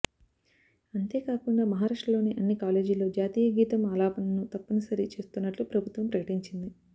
అంతేకాకుండా మహారాష్ట్ర లోని అన్ని కాలేజీల్లో జాతీయ గీతం ఆలాపనను తప్పని సరి చేస్తున్నట్లు ప్రభుత్వం ప్రకటించింది